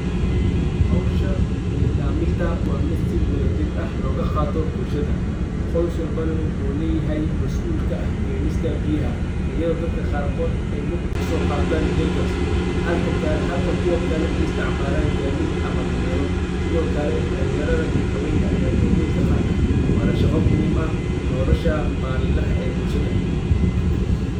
Hawsha biya dhaaminta wa miid sii wadha jiir ah lo gaqato bulshadaa qoos walbana waxu leyahay masuul ka ah Kenista biyaha ayado dadka qaar kood ey lug kusoqatan jergans halka Kuba kale ey isticmalan gadiid ama damero sidokale dhalinyaradha iyo haweenka dor weyn kaqataa Wana shaqa muhiim ah nolasha malinlaha ee bulshadaa.